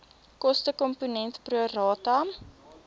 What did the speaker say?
kostekomponent pro rata